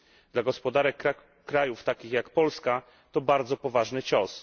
Dla gospodarek krajów takich jak Polska to bardzo poważny cios.